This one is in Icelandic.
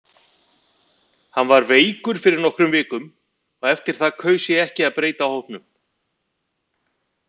Hann var veikur fyrir nokkrum vikum og eftir það kaus ég ekki að breyta hópnum.